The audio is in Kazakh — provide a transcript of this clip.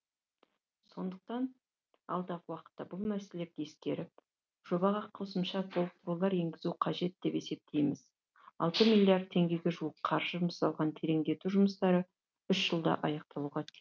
сондықтан алдағы уақытта бұл мәселелерді ескеріп жобаға қосымша толықтырулар енгізу қажет деп есептейміз алты миллиард теңгеге жуық қаржы жұмсалған тереңдету жұмыстары үш жылда аяқталуға